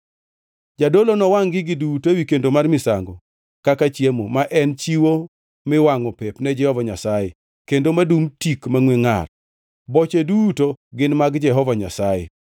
Jadolo nowangʼ gigi duto ewi kendo mar misango kaka chiemo, ma en chiwo miwangʼo pep ne Jehova Nyasaye kendo madum tik mangʼwe ngʼar. Boche duto gin mag Jehova Nyasaye.